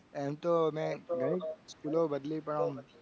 એમ તો મેં ઘણી સ્કૂલો બદલી પણ ઓમ